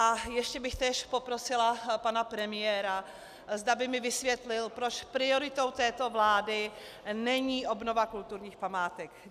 A ještě bych též poprosila pana premiéra, zda by mi vysvětlil, proč prioritou této vlády není obnova kulturních památek.